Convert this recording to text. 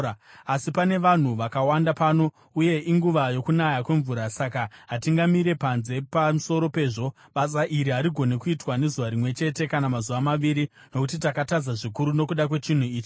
Asi pane vanhu vakawanda pano uye inguva yokunaya kwemvura; saka hatingamire panze. Pamusoro pezvo basa iri harigoni kuitwa nezuva rimwe chete kana mazuva maviri, nokuti takatadza zvikuru nokuda kwechinhu ichi.